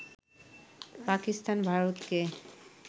পাকিস্তান ভারতকে